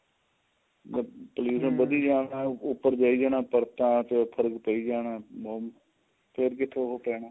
ਵਧੀ ਜਾਣਾ ਉੱਪਰ ਪਈ ਜਾਣਾ ਪਰਤਾਂ ਦੇ ਉੱਪਰ ਪਈ ਜਾਣਾ ਫੇਰ ਕਿੱਥੋਂ ਉਹ ਪੈਣਾ